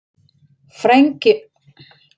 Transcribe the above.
Frænka mín heitir Erla.